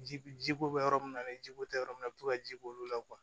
Ji ji ko bɛ yɔrɔ min na ni jiko tɛ yɔrɔ min na a bɛ to ka ji b'olu la